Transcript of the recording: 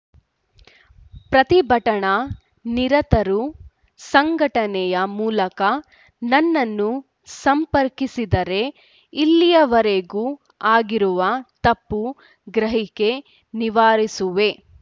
ಪ್ರತಿಭಟನಾ ನಿರತರು ಸಂಘಟನೆಯ ಮೂಲಕ ನನ್ನನ್ನು ಸಂಪರ್ಕಿಸಿದರೆ ಇಲ್ಲಿಯವರೆಗೂ ಆಗಿರುವ ತಪ್ಪು ಗ್ರಹಿಕೆ ನಿವಾರಿಸುವೆ